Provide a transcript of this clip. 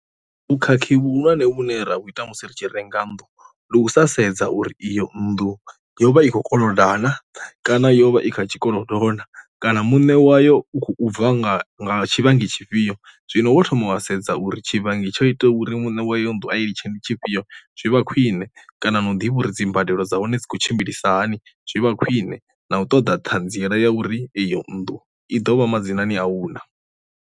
Vhukhakhi vhuhulwane vhune ra vhu ita musi ri tshi renga nnḓu ndi u sa sedza uri iyo nnḓu yo vha i khou koloda na kana yo vha i kha tshikolo na, kana muṋe wayo u khou bva nga nga tshifhinga tshifhio. Zwino wo thoma wa sedza uri tshi vhangi tsho itaho uri muṋe wayo nnḓu a i litshe ndi tshifhio zwi vha khwine, kana no ḓivha uri dzi mbadelo dza hone dzi khou tshimbilisa hani zwi vha khwine na u ṱoḓa ṱhanziela ya uri eyo nnḓu i dovha madzinani au na.